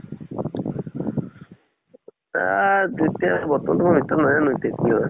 তা-আ-ত এতিয়া বৰ্তমান এইটো নাজানো এতিয়া কি হয়।